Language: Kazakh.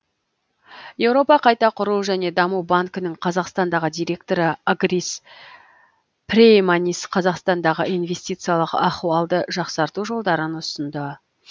еуропа қайта құру және даму банкінің қазақстандағы директоры агрис прейманис қазақстандағы инвестициялық ахуалды жақсарту жолдарын ұсынды